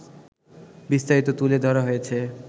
বিস্তারিত তুলে ধরা হয়েছে